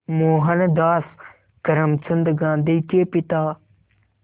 मोहनदास करमचंद गांधी के पिता